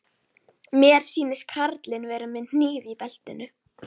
Mér sýnist karlinn vera með hníf í beltinu.